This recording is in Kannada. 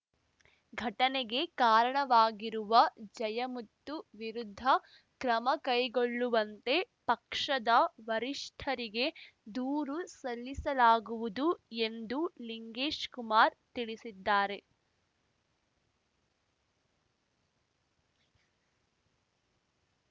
ಘಟನೆಗೆ ಕಾರಣವಾಗಿರುವ ಜಯಮುತ್ತು ವಿರುದ್ಧ ಕ್ರಮ ಕೈಗೊಳ್ಳುವಂತೆ ಪಕ್ಷದ ವರಿಷ್ಠರಿಗೆ ದೂರು ಸಲ್ಲಿಸಲಾಗುವುದು ಎಂದು ಲಿಂಗೇಶ್‌ಕುಮಾರ್‌ ತಿಳಿಸಿದ್ದಾರೆ